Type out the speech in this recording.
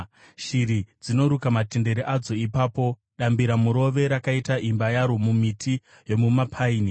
Shiri dzinoruka matendere adzo ipapo; dambiramurove rakaita imba yaro mumiti yomupaini.